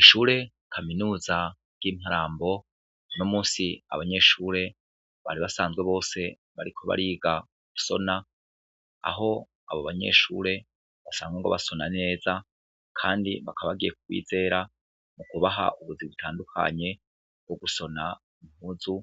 Ishure kaminuza ryimarambo uno musi abanyeshure bari basanzwe bose bariko bariga gusona aho abo banyeshure bariko basona neza kandi baka bagiye kubizera bakabaha ibintu bitandukanye nkogusona impuzu